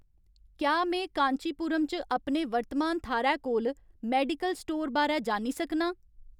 क्या में कांचीपुरम च अपने वर्तमान थाह्‌रै कोल मेडिकल स्टोर बारै जानी सकनां